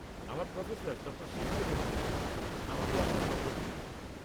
আমার professor, doctor Shekhar Menon, আমাকে আপনার নম্বর দিয়েছেন।